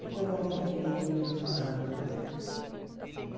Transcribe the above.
Depois não nos vimos nem nos falamos mais.